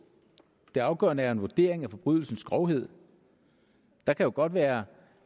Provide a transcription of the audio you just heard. det afgørende er en vurdering af forbrydelsens grovhed der kan jo godt være